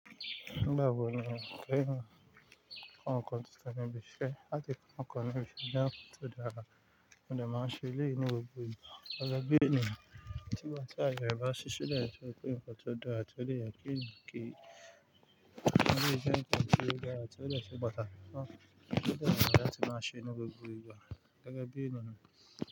Nígbà wò ni o féràn fún àwọn nǹkan tí o sọ ní ibi iṣẹ́? Láti kọ́ ní ibi iṣẹ́ tó dára, mo dẹ̀ máa ń ṣe eléyìí ní gbogbo ìgbà. Ìyẹn bẹ́ẹ̀ ni nígbà tí àyè bá ṣílẹ̀ lẹ̀ tó dẹ̀ jẹ́ pé nnkan tó dára, tó lè jẹ́ pé kì í, tó dẹ̀ jẹ́ nǹkan tó dára rẹ̀, l tó dẹ̀ ṣe pàtàkì fún àwọn ènìyàn. Tí ó dẹ̀ dára láti màá ṣe ní gbogbo ìgbà gẹ́gẹ́ bí ènìyàn.